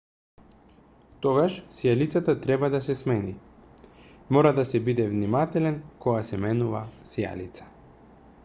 тогаш сијалицата треба да се смени мора да се биде внимателен кога се менува сијалица